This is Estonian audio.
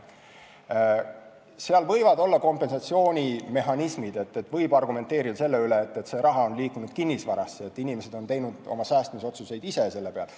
Seal võivad olla kompensatsioonimehhanismid, võib argumenteerida selle üle, et see raha on liikunud kinnisvarasse, et inimesed on teinud oma säästmise otsuseid ise selle peal.